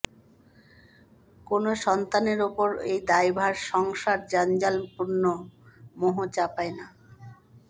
কোনো সন্তানের ওপর এই দায়ভার সংসার জঞ্জালপূর্ণ মোহ চাপায় না